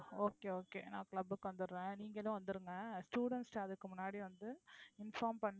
okay okay நான் club க்கு வந்துடுறேன் நீங்களும் வந்துருங்க students அதுக்கு முன்னாடி வந்து inform பண்ணி